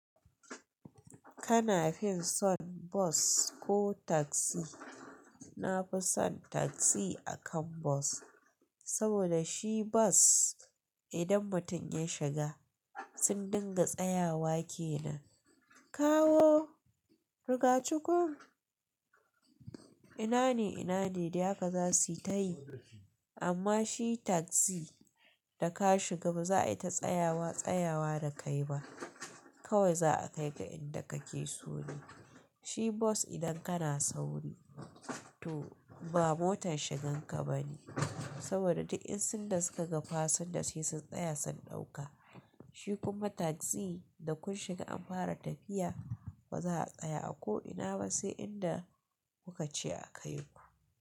Kana fin son Bus ko Taxi? Na fi son Taxi akan Bus, saboda shi Bus idan mutum ya shiga sun dinga tsayawa kenan. Kawo! Rigacukun! Ina ne, ina ne? Da haka za su yi tayi. Amma shi Taxi da ka shiga ba za a yi ta tsayawa-tsayawa da kai ba. Kawai za a kai ka inda kake so ne. Shi Bus idan kana sauri, to ba motar shigan ka ba ne. Saboda duk insun da suka ga fasinja sai sun tsaya sun ɗauka. Shi kuma Taxi da kun shiga an fara tafiya, ba za a tsaya a ko ina ba sai inda kuka ce a kai ku.